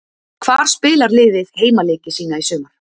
Hvar spilar liðið heimaleiki sína í sumar?